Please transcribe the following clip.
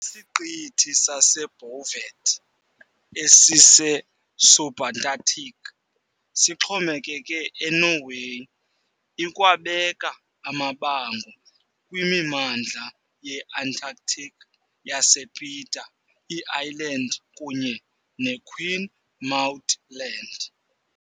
Isiqithi saseBouvet, esise-Subantarctic, sixhomekeke eNorway, ikwabeka amabango kwimimandla ye-Antarctic yasePeter I Island kunye ne-Queen Maud Land.